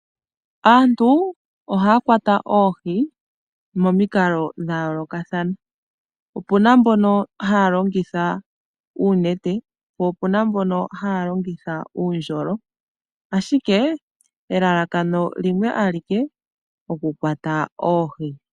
Aantu ohaya kwata oohi momikalo dha yoolokothana. Ope na mboka haya kwata oohi taya longitha oonete po opena mboka haya kwata oohi taya longitha uundjolo ashike elalakano limwe alike okukwata oohi.